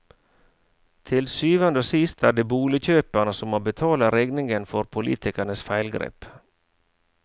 Til syvende og sist er det boligkjøperne som må betale regningen for politikernes feilgrep.